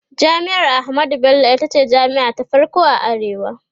jami'ar ahmadu Bello itace jami'a ta farko a arewa